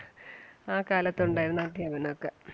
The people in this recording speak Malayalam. ആ കാലത്ത് ഒണ്ടാരുന്ന അദ്ധ്യാപനം ഒക്കെ.